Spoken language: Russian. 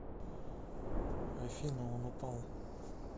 афина он упал